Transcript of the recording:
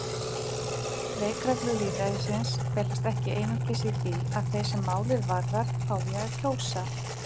Leikreglur lýðræðisins felast ekki einungis í því að þeir sem málið varðar fái að kjósa.